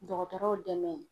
Dɔgɔtɔrɔw dɛmɛ.